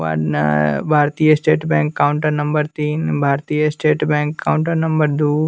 ना भारतीय state bank counter number तीन भारतीय state bank counter number two.